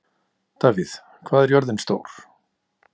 Davíð, hvað er jörðin stór?